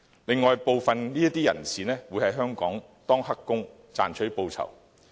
此外，部分人士會在香港當"黑工"賺取報酬。